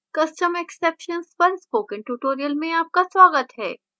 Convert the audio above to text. custom exceptions पर spoken tutorial में आपका स्वागत है